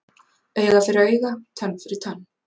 Auga fyrir auga, tönn fyrir tönn